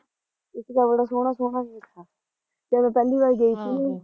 ਇੱਕ ਤਾਂ ਬੜਾ ਸੋਹਣਾ ਸੋਹਣਾ ਜਿਹਾ ਥਾ ਜਦ ਮੈਂ ਪਹਿਲੀ ਵਾਰ ਗਈ ਥੀ ਆਹ